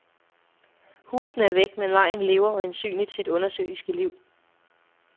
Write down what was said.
Husene er væk, men vejen lever øjensynligt sit undersøiske liv.